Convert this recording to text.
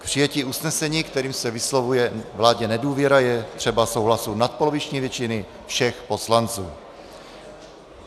K přijetí usnesení, kterým se vyslovuje vládě nedůvěra, je třeba souhlasu nadpoloviční většiny všech poslanců.